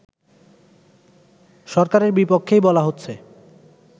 সরকারের বিপক্ষেই বলা হচ্ছে